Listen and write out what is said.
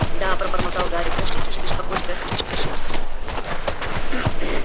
да пробормотал гарри простите за беспокойство я хотел спросить